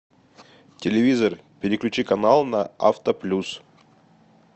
телевизор переключи канал на авто плюс